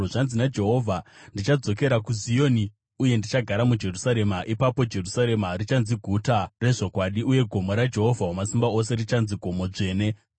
Zvanzi naJehovha: “Ndichadzokera kuZioni uye ndichagara muJerusarema. Ipapo Jerusarema richanzi Guta reZvokwadi, uye gomo raJehovha Wamasimba Ose richanzi Gomo Dzvene.”